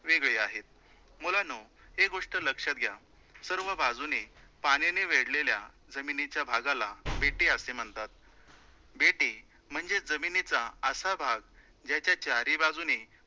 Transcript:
वेगळे आहेत. मुलांनो, एक गोष्ट लक्षात घ्या सर्व बाजूने पाण्याने वेढलेल्या जमिनीच्या भागाला बेटे असे म्हणतात. बेटे म्हणजे जमिनीचा असा भाग ज्याच्या चारही बाजूने